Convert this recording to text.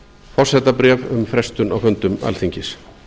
forsetabréf um frestun á fundum alþingis